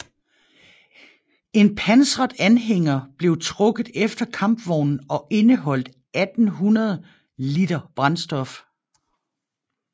En pansret anhænger blev trukket efter kampvognen og indeholdt 1800 liter brændstof